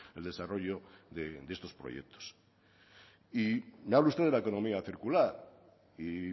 el desarrollo de estos proyectos y me habla usted de la economía circular y